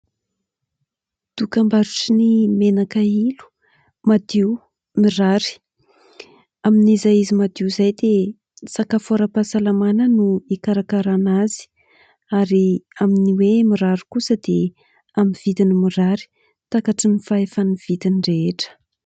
Dokambarotry ny menaka ilo. Madio, mirary. Amin'izay izy madio izay dia sakafo ara-pahasalamana no hikarakarana azy ary amin'ny hoe mirary kosa dia amin'ny vidiny mirary takatry ny fahefa-mividin'ny rehetra.